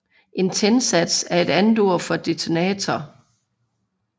En tændsats er et andet ord for detonator